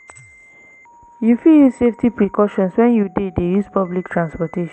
You fit use safety precautions when you dey dey use public transportation.